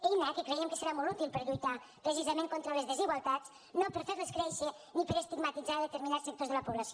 eina que creiem que serà molt útil per lluitar precisament contra les desigualtats no per a fer les créixer ni per a estigmatitzar determinats sectors de la població